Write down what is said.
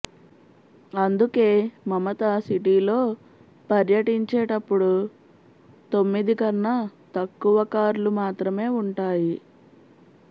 అందుకే మమత సిటీలో పర్యచించేటప్పుడు తొమ్మిది క్ననా తక్కువ కార్లు మాత్రమే ఉంటాయి